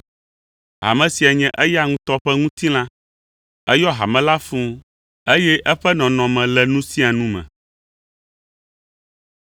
Hame sia nye eya ŋutɔ ƒe ŋutilã. Eyɔ hame la fũu, eye eƒe nɔnɔme le nu sia nu me.